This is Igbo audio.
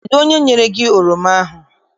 Kedụ onye nyere gị oroma ahụ?